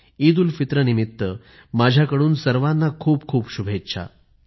ईदउलफितरह निमित्त माझ्याकडून सर्वाना खूपखूप शुभेच्छा